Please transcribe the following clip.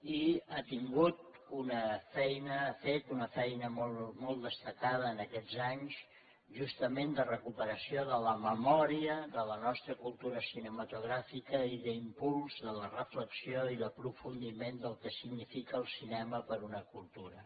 i ha fet una feina molt destacada aquests anys justament de recuperació de la memòria de la nostra cultura cinematogràfica i d’impuls de la reflexió i l’aprofundiment del que significa el cinema per a una cultura